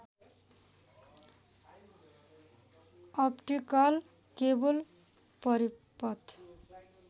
optical cable परिपथ